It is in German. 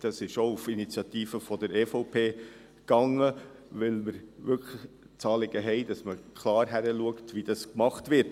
Das ging auch auf die Initiative der EVP zurück, weil wir wirklich das Anliegen haben, dass man klar hinschaut, wie dies gemacht wird.